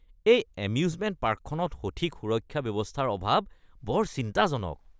এই এম্যুজমেণ্ট পাৰ্কখনত সঠিক সুৰক্ষা ব্যৱস্থাৰ অভাৱ বৰ চিন্তাজনক।